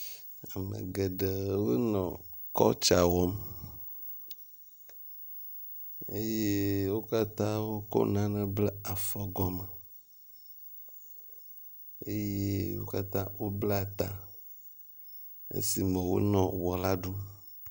Ame geɖe wo nɔ kɔltsa wɔm eye wo katã wokɔ nane ble afɔgɔme eye wo katã wobla ta esime wonɔ wɔ la ɖum.